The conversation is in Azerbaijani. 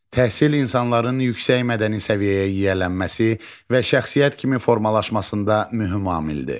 Təhsil insanların yüksək mədəni səviyyəyə yiyələnməsi və şəxsiyyət kimi formalaşmasında mühüm amildir.